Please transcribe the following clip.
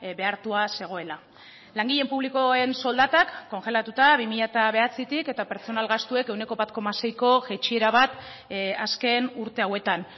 behartua zegoela langile publikoen soldatak kongelatuta bi mila bederatzitik eta pertsonal gastuek ehuneko bat koma seiko jaitsiera bat azken urte hauetan